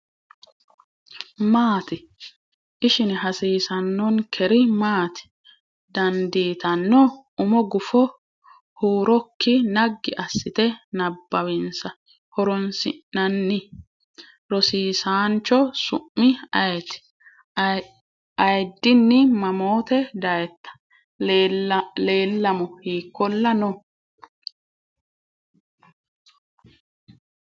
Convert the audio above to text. Maati? ishine hasiissannonkeri maati? dandiitanno? Umi gufo huurokki naggi assite nabbawinsa. horoonsi’nanni. Rosiisaancho su’mi ayeeti? Ayiddinni mamote dayitta? Leellamo hiikkolla no?